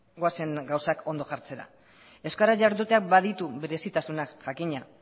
goazen gauzak ondo jartzera euskaraz jarduteak baditu berezitasunak jakina